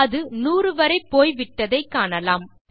அது 100 வரை போய் விட்டதை காணலாம்